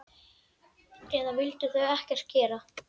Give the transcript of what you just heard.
Eða vildu þau ekkert gera?